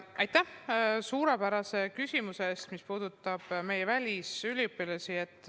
Aitäh suurepärase küsimuse eest meie välisüliõpilaste kohta!